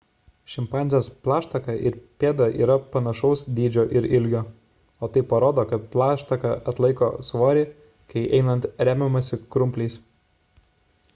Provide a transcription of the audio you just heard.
šimpanzės plaštaka ir pėda yra panašaus dydžio ir ilgio o tai parodo kad plaštaka atlaiko svorį kai einant remiamasi krumpliais